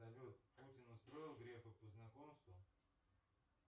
салют путин устроил грефа по знакомству